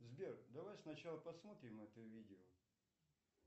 сбер давай сначала посмотрим это видео